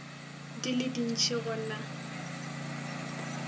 di le dintši go na